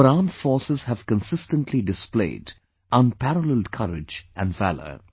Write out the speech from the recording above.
Our armed forces have consistently displayed unparalleled courage and valour